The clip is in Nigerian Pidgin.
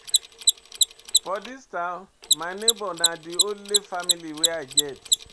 For dis town, my nebor na di only family wey I get.